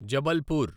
Jabalpur